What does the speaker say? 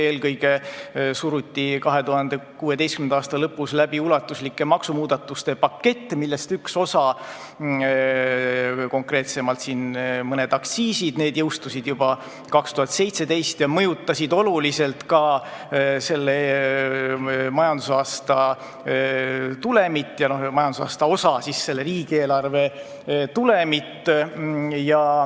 Eelkõige suruti 2016. aasta lõpus läbi ulatuslike maksumuudatuste pakett, millest üks osa, konkreetsemalt mõned aktsiisid jõustusid juba 2017 ning mõjutasid oluliselt ka selle majandusaasta tulemit ja majandusaasta ühe osa, selle riigieelarve tulemit.